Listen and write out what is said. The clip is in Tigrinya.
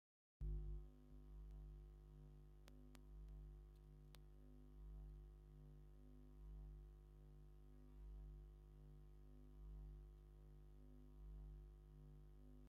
ኣብ ኦርቶዶክስ ተዋህዶ እምነት ክርስትና ካብ ዝኮኑ ኣብ ክሳዶም ኮነ ኣብ ኢዶም ምእሳር እምነቶም ዘረጋግፅሉ ካይኑ እንታይ እናተባህለ ይፍለጥ ?